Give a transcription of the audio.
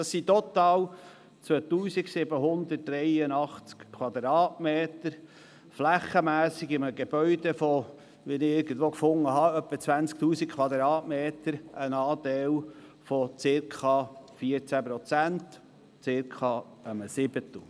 Total sind dies 2783m, flächenmässig ein Anteil von circa 14 Prozent eines Gebäudes von etwa 20 000m, was circa einem Siebtel entspricht.